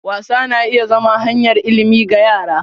Wasa na iya zama hanyar ilimi ga yara.